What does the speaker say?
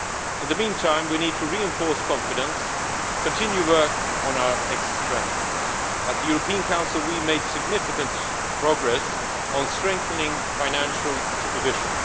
In the meantime, we need to reinforce confidence and continue work on our exit strategies. At the European Council, we made significant progress on strengthening financial supervision.